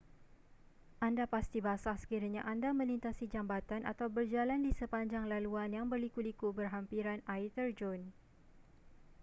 anda pasti basah sekiranya anda melintasi jambatan atau berjalan di sepanjang laluan yang berliku-liku berhampiran air terjun